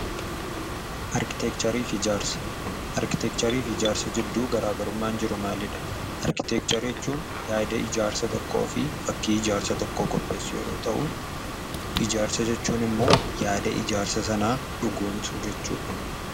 Arkiteekchariif ijaarsa. Arkiteekchariif ijaarsa jidduu garaagarummaan jiru maalidha? Arkiteekcharii jechuun yaada ijaarsa tokkoo fi fakkii ijaarsa tokkoo qopheessuu yeroo ta'uu ijaarsa jechuun immoo yaada ijaarsa sanaa dhugoomsuu jechuudha.